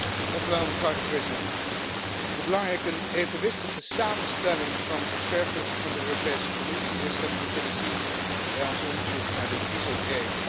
Voorzitter, hoe belangrijk een evenwichtige samenstelling van expertgroepen van de Europese Commissie is, hebben we kunnen zien bij ons onderzoek naar de dieselgate affaire.